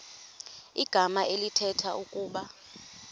igama elithetha ukuba